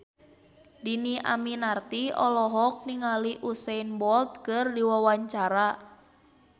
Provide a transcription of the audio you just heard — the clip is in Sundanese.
Dhini Aminarti olohok ningali Usain Bolt keur diwawancara